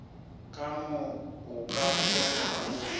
ka mo o ka kgonago